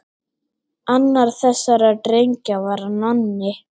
Annar þessara drengja var Nonni.